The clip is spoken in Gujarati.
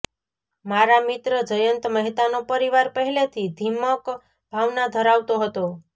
મારા મિત્ર જયંત મહેતાનો પરિવાર પહેલેથી ર્ધાિમક ભાવના ધરાવતો હતો